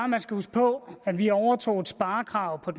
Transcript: man skal huske på at vi overtog et sparekrav